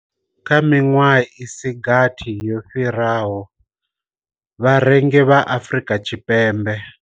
Kha miṅwedzi i si gathi yo fhiraho, vharengi vha Afrika Tshipembe.